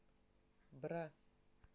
бра